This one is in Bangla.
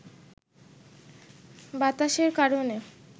বাতাসের কারণে